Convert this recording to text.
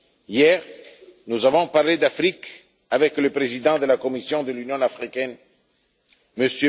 Hier, nous avons parlé d'Afrique avec le président de la Commission de l'Union africaine, M.